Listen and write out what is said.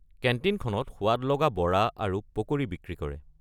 কেণ্টিনখনত সোৱাদলগা বড়া আৰু পকৰি বিক্ৰী কৰে।